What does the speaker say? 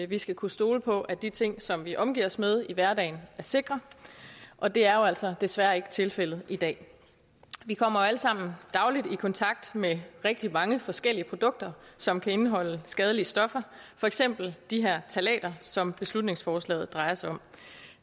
vi skal kunne stole på at de ting som vi omgiver os med i hverdagen er sikre og det er jo altså desværre ikke tilfældet i dag vi kommer jo alle sammen dagligt i kontakt med rigtig mange forskellige produkter som kan indeholde skadelige stoffer for eksempel de her ftalater som beslutningsforslaget drejer sig om